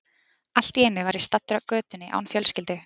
Allt í einu var ég staddur á götunni án fjölskyldu.